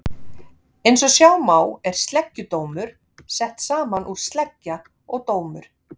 Eins og sjá má er sleggjudómur sett saman úr sleggja og dómur.